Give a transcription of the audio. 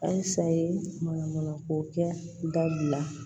Halisa ye manamana ko kɛ dabila